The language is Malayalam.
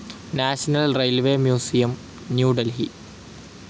national railways museum, New Delhi